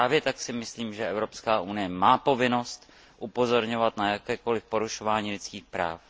Právě tak si myslím, že Evropská unie má povinnost upozorňovat na jakékoliv porušování lidských práv.